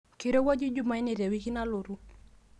keirowuaju jumanne tena wiki nalotu